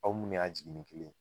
Aw munnu y'a jiginnin kelen ye